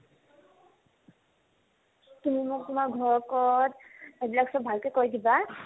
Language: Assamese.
তুমি মোক তোমাৰ ঘৰ ক'ত address তো ভালকে কৈ দিবা